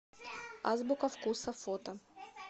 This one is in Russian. азбука вкуса фото